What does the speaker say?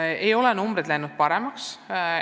Enamik neid näitajaid ei ole läinud paremaks.